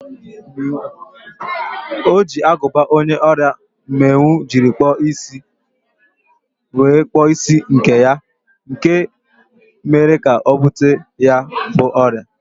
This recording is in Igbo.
O ji agụba onye ọrịa mmịnwụ jiri kpụọ isi wee kpụọ isi nke ya, nke a mere ka o bute ya bụ ọrịa.